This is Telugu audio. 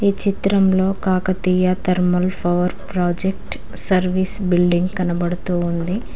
ఈ చిత్రంలో Kakatiya thermal power project service building కనబడుతోంది.